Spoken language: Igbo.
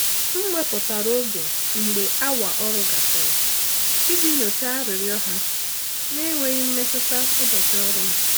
M wepụtara oge mgbe awa ọrụ gasịrị iji nyochaa arịrịọ ha na-enweghị imetụta ụbọchị ọrụ m.